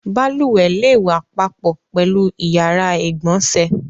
Balùwẹ̀ le wà papọ̀ pẹ̀lú ìyàrá-ìgbọǹsẹ̀.